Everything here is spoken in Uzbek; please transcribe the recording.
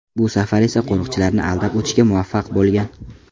Bu safar esa u qo‘riqchilarni aldab o‘tishga muvaffaq bo‘lgan.